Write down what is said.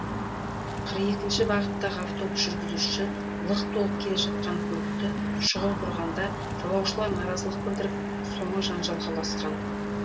қырық екінші бағыттағы автобус жүргізушісі лық толып келе жатқан көлікті шұғыл бұрғанда жолаушылар наразылық білдіріп соңы жанжалға ұласқан